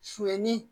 Su ni